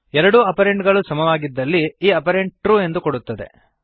ಎರಡೂ ಆಪರಂಡ್ ಗಳೂ ಸಮವಾಗಿದ್ದಲ್ಲಿ ಈ ಆಪರೇಟರ್ ಟ್ರು ಎಂದು ಕೊಡುತ್ತದೆ